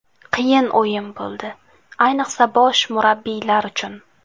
Qiyin o‘yin bo‘ldi, ayniqsa bosh murabbiylar uchun.